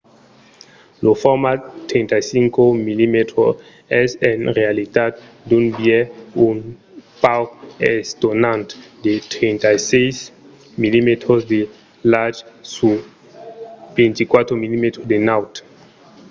lo format 35 mm es en realitat d'un biais un pauc estonant de 36 mm de larg sur 24 mm de naut